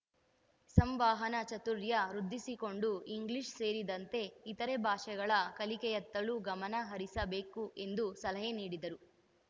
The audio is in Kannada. ಸಂವಹನ ಚಾತುರ್ಯ ವೃದ್ಧಿಸಿಕೊಂಡು ಇಂಗ್ಲೀಷ್‌ ಸೇರಿದಂತೆ ಇತರೆ ಭಾಷೆಗಳ ಕಲಿಕೆಯತ್ತಲೂ ಗಮನ ಹರಿಸಬೇಕು ಎಂದು ಸಲಹೆ ನೀಡಿದರು